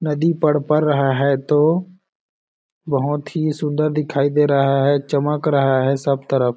नदी रहा है तो बहुत ही सुन्दर दिखाई दे रहा है चमक रहा है सब तरफ --